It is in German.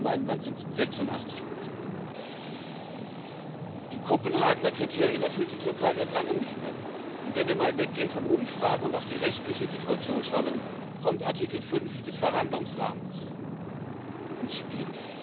In Deutschland in meinem Land sind es 86 Die Kopenhagener Kriterien erfüllt die Türkei seit langem nicht mehr, und wenn wir mal weggehen von Umfragen und auf die rechtliche Situation schauen, dann kommt Artikel 5 des Verhandlungsrahmens ins Spiel.